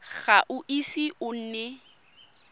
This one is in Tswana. ga o ise o nne